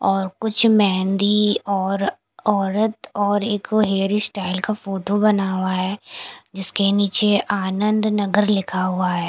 और कुछ मेहंदी और औरत और एक हेयर स्टाइल का फोटो बना हुआ है जिसके नीचे आनंद नगर लिखा हुआ हैं।